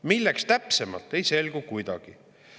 Milleks täpsemalt, ei selgu kuidagi.